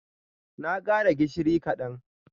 Na kara gishiri kadan.